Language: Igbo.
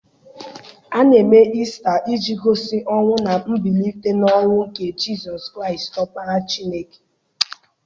A na-eme Ista iji gosi ọnwụ na mbilite n'ọnwụ nke Jizọs Kraịst Ọkpara Chineke.